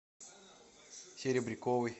серебряковой